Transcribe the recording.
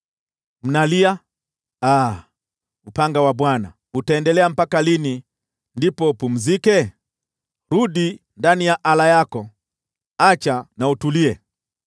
“Mnalia, ‘Aa, upanga wa Bwana , utaendelea mpaka lini ndipo upumzike? Rudi ndani ya ala yako; acha na utulie.’